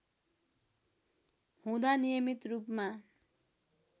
हुँदा नियमित रूपमा